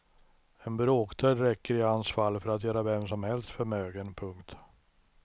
En bråkdel räcker i hans fall för att göra vem som helst förmögen. punkt